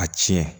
A tiɲɛ